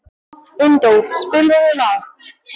Unndór, spilaðu lag.